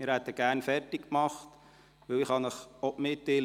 Wir hätten gerne alle Geschäfte zu Ende behandelt.